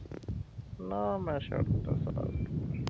ਨਾ ਮੈਂ ਛੱਡ ਤਾ ਸਾਥ।